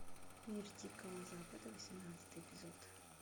мир дикого запада восемнадцатый эпизод